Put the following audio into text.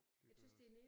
Det gør jeg også